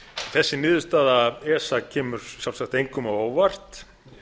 þessi niðurstaða esa kemur sjálfsagt engum á óvart